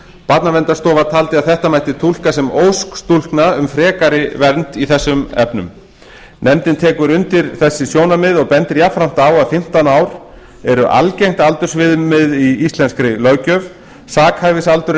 barnaverndarstofa taldi að þetta mætti túlka sem ósk stúlkna um frekari vernd í þessum efnum nefndin tekur undir þessi sjónarmið og bendir jafnframt á að fimmtán ár eru algengt aldursviðmið í íslenskri löggjöf sakhæfisaldur er